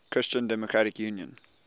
christian democratic union